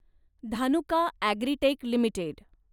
Dhanuka agritech limited